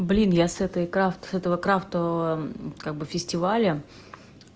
блин я с этой крафт с этого крафта как бы фестиваля